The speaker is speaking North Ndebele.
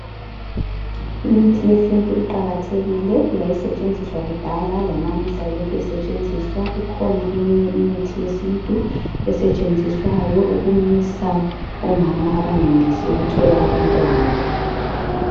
Imithi yesintu iqakathekile yayisetshenziswa kudala lanamuhla lokhe isetshenziswa. Ikhona eminye imithi yesintu esetshenziswayo ukumisa omama abangenelisi ukuthola abantwana.